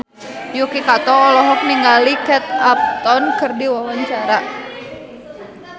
Yuki Kato olohok ningali Kate Upton keur diwawancara